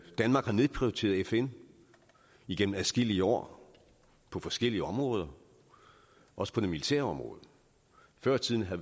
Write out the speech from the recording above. danmark har nedprioriteret fn igennem adskillige år på forskellige områder også på det militære område før i tiden